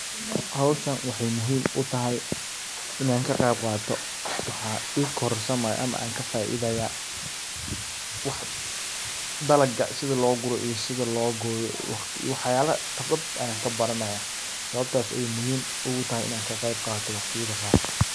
Hawshan waxay muhiim u tahay inan ka qayb qaato waxaa i korsamaya ama an ka faiidaya dalaga sida loo gura iyo sida loo gooyo iyo waxyaala qibrad ayan kabaranaya sababtas ayu muhiim ugu tahay inaan ka qayb qaato waqtiyada qaar.